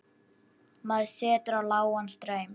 Maður setur á lágan straum.